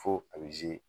Fo a bɛ